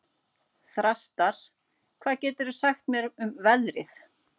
Þrastar, hvað geturðu sagt mér um veðrið?